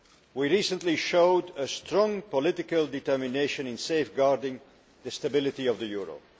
We recently showed strong political determination in safeguarding the stability of the euro.